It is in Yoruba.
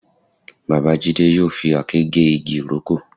Bàbá Jídé yóò fi àáké gé igi ìrókò